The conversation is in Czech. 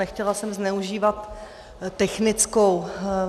Nechtěla jsem zneužívat technickou.